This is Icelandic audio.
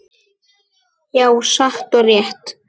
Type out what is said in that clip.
Já, satt og rétt.